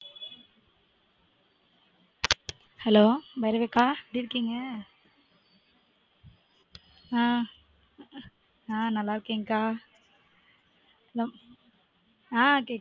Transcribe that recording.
hello Bhairavi அக்கா எப்படி இருக்கீங்க? ஆ ஆ நல்லா இருகேன் கா hello ஆ கேக்குது